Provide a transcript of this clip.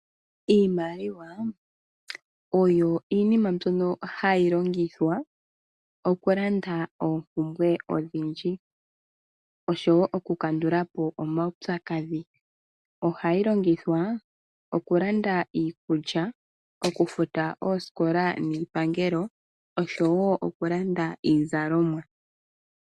Iimaliwa oyo iinima mbyono hayi longithwa oku landa oompumbwe odhindji oshowo oku kandulapo oomautsakadhi. Ohayi longithwa oku landa iikulya, oku futa oosikola niipangelo oshowo oku landa iizalomwa.